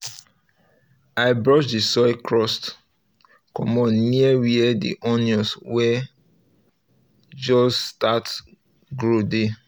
um i brush the soil crust comot near where the onions wey um just start grow um dey